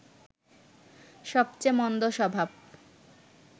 সবচেয়ে মন্দ স্বভাব